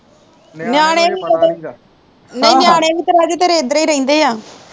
ਨਹੀਂ ਨਿਆਣੇ ਵੀ ਤਾ ਰਾਜੇ ਤੇਰੇ ਏਦਰੀ ਰਹਿੰਦੇ ਆ